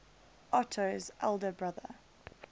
otto's elder brother